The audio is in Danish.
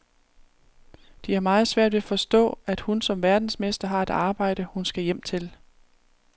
De har meget svært ved at forstå, at hun som verdensmester har et arbejde, hun skal hjem til.